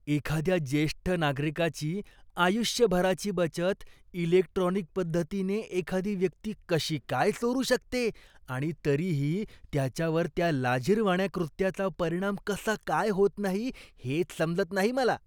एखाद्या ज्येष्ठ नागरिकाची आयुष्यभराची बचत इलेक्ट्रॉनिक पद्धतीने एखादी व्यक्ती कशी काय चोरू शकते आणि तरीही त्याच्यावर त्या लाजिरवाण्या कृत्याचा परिणाम कसा काय होत नाही हेच समजत नाही मला.